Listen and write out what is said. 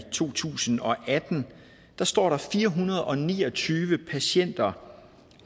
to tusind og atten står der fire hundrede og ni og tyve patienter